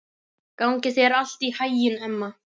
Gangi þér allt í haginn, Emma.